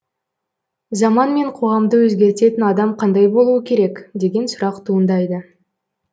заман мен қоғамды өзгертетін адам қандай болуы керек деген сұрақ туындайды